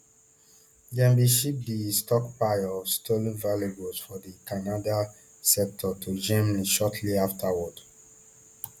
dem bin ship di stockpile of stolen valuables for di canada sector to germany shortly afterwards